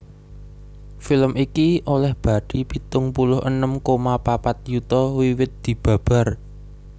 Film iki olèh bathi pitung puluh enem koma papat yuta wiwit dibabar